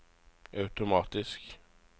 automatisk